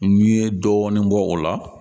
N ye dɔɔnin bɔ o la